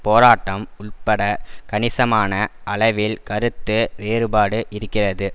போராட்டம் உள்பட கணிசமான அளவில் கருத்து வேறுபாடு இருக்கிறது